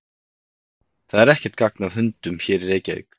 Það er ekkert gagn af hundunum hér í Reykjavík.